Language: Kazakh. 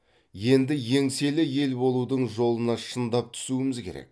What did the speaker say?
енді еңселі ел болудың жолына шындап түсуіміз керек